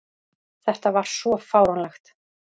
Þetta var svo fáránlegt!